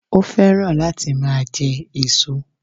Ó fẹ́ràn láti máa je èso